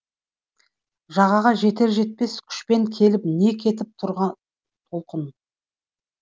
жағаға жетер жетпес күшпен келіп не кетіп тұрған толқын